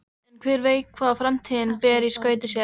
En hver veit hvað framtíðin ber í skauti sér?